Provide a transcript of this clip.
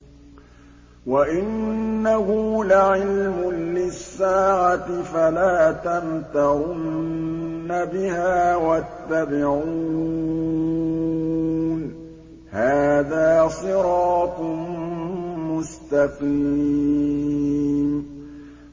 وَإِنَّهُ لَعِلْمٌ لِّلسَّاعَةِ فَلَا تَمْتَرُنَّ بِهَا وَاتَّبِعُونِ ۚ هَٰذَا صِرَاطٌ مُّسْتَقِيمٌ